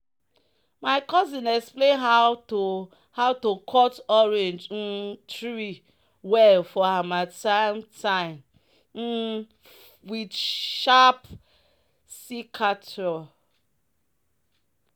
"my cousin explain how to how to cut orange um tree well for harmattan time um with sharp secateur."